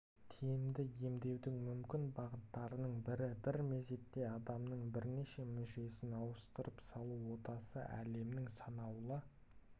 тиімді емдеудің мүмкін бағыттарының бірі бір мезетте адамның бірнеше мүшесін ауыстырып салу отасы әлемнің санаулы